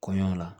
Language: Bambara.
Kɔɲɔ la